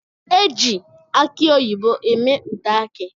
Eji aki oyibo eme ude aki.